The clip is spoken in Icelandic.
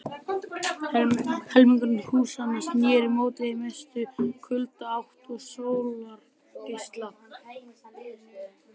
Helmingur húsanna sneri móti mestu kuldaátt og sólarleysi.